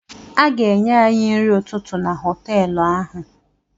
A ga-enye any nri ụtụtụ na họtelụ ahụ.